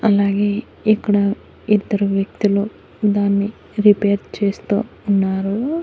అలాగే ఇక్కడ ఇద్దరు వ్యక్తులు దాన్ని రిపేర్ చేస్తూ ఉన్నారు.